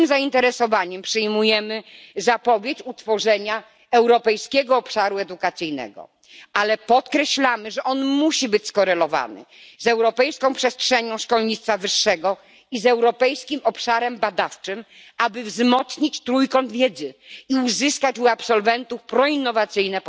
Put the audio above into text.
Z dużym zainteresowaniem przyjmujemy zapowiedź utworzenia europejskiego obszaru edukacji, ale podkreślamy, że musi być on skorelowany z europejską przestrzenią szkolnictwa wyższego i z europejskim obszarem badawczym, aby wzmocnić trójkąt wiedzy i uzyskać u absolwentów postawy proinnowacyjne.